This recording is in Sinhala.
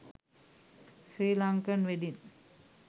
sri lankan wedding